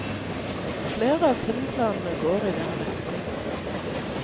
Flere av filmplanene går i den retning.